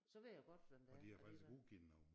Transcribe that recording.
Så ved jeg jo godt hvem det er alligevel